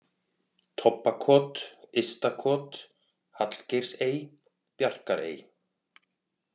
Tobbakot, Ysta-Kot, Hallgeirsey, Bjarkarey